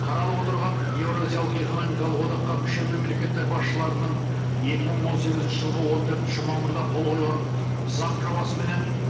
қаралып отырған еуразиялық экономикалық одаққа мүше мемлекеттер басшыларының екі мың он сегізінші жылғы он төртінші мамырда қол қойған заң жобасыменен